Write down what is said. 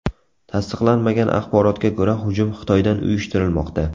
Tasdiqlanmagan axborotga ko‘ra, hujum Xitoydan uyushtirilmoqda.